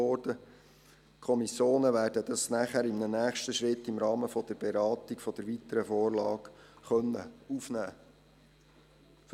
Die Kommissionen werden das anschliessend in einem nächsten Schritt im Rahmen der Beratung der weiteren Vorlage aufnehmen können.